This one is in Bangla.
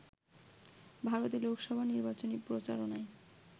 ভারতে লোকসভা নির্বাচনী প্রচারণায়